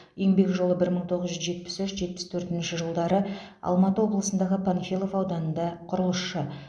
еңбек жолы бір мың тоғыз жүз жетпіс үш жетпіс төртінші жылдары алматы облысындағы панфилов ауданында құрылысшы